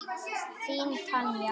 Þín Tanja.